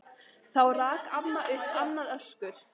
Þá rak amma upp annað öskur.